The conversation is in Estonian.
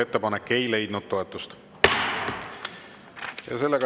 Ettepanek ei leidnud toetust.